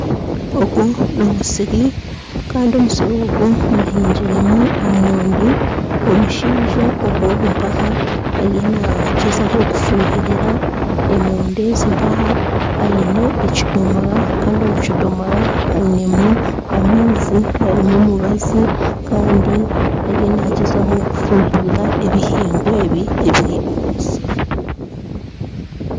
Ogu nomusiri kandi omusiri ogu bahingiremu emoondi omushaija ogu mpaha ariyo nagyezaho kufuhirira emoondi ezi mpaha aine ekidomora Kandi omukidomora ainemu amaizi garimu omubazi kandi ariyo nagyezaho kufuhirira ebihingwa ebi ebiri omu musiri.